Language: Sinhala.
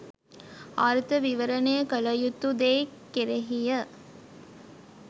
අර්ථ විවරණය කළ යුතු දේ කෙරෙහිය.